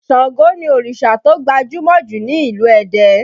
Ṣàngó ni òrìṣà tó gbajúmọ̀ jù ní ìlú Ẹdẹ